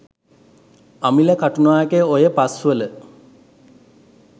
අමිල කටුනායක ඔය පස්වල